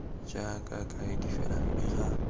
jaaka kaedi fela mme ga